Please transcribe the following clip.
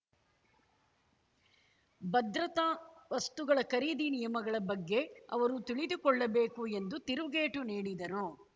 ಭದ್ರತಾ ವಸ್ತುಗಳ ಖರೀದಿ ನಿಯಮಗಳ ಬಗ್ಗೆ ಅವರು ತಿಳಿದುಕೊಳ್ಳಬೇಕು ಎಂದು ತಿರುಗೇಟು ನೀಡಿದರು